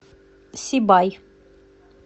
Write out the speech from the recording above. сибай